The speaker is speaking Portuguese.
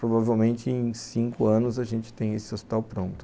Provavelmente em cinco anos a gente tem esse hospital pronto.